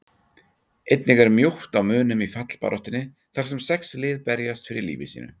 Einnig er mjótt á munum í fallbaráttunni þar sem sex lið berjast fyrir lífi sínu.